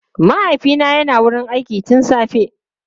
Mahaifina yana wurin aiki tun safe.